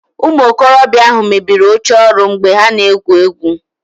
Ụmụ okorobịa ahụ mebiri oche ọrụ mgbe ha na-egwu egwu